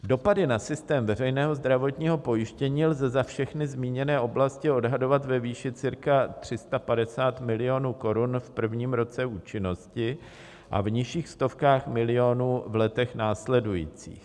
Dopady na systém veřejného zdravotního pojištění lze za všechny zmíněné oblasti odhadovat ve výši cirka 350 milionů korun v prvním roce účinnosti a v nižších stovkách milionů v letech následujících.